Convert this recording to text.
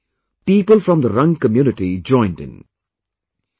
And in no time, people from the Rang community joined in